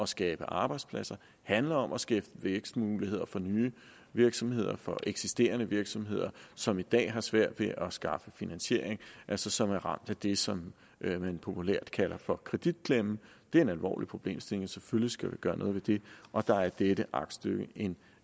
skabe arbejdspladser handler om at skabe vækstmuligheder for nye virksomheder for eksisterende virksomheder som i dag har svært ved at skaffe finansiering altså som er ramt af det som man populært kalder for kreditklemmen det er en alvorlig problemstilling og selvfølgelig skal vi gøre noget ved det og der er dette aktstykke en